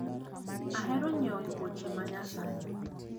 Ahero nyiewo wuoche ma nyasani.